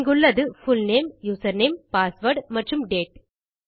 இங்குள்ளது full name username password மற்றும் date